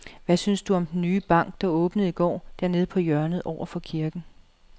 Hvad synes du om den nye bank, der åbnede i går dernede på hjørnet over for kirken?